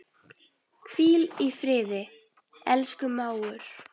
Hvíl í friði, elsku mágur.